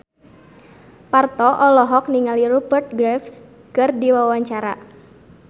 Parto olohok ningali Rupert Graves keur diwawancara